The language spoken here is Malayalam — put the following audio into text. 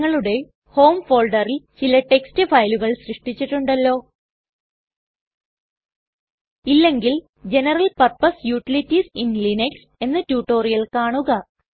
നിങ്ങളുടെ ഹോം ഫോൾഡറിൽ ചില ടെക്സ്റ്റ് ഫയലുകൾ സൃഷ്ടിച്ചിട്ടുണ്ടല്ലോ ഇല്ലെങ്കിൽ ജനറൽ പർപ്പസ് യൂട്ടിലിറ്റീസ് ഇൻ Linuxഎന്ന റ്റുറ്റൊരിയൽ കാണുക